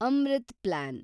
Amrit plan